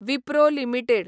Wipro limited